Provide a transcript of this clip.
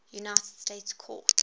united states court